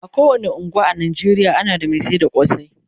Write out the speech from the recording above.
a kowani unguwa a Najeriya ana da Mai sayar da kosai